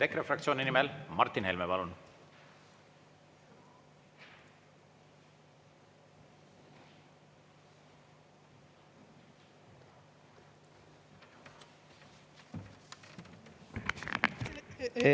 EKRE fraktsiooni nimel Martin Helme, palun!